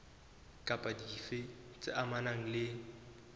kapa dife tse amanang le